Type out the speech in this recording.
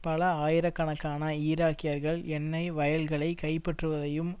பல ஆயிரக்கணக்கான ஈராக்கியர்கள் எண்ணெய் வயல்களை கைப்பற்றுவதையும்